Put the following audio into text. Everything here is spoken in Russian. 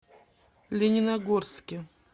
лениногорске